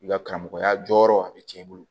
I ka karamɔgɔya jɔyɔrɔ a bɛ cɛn i bolo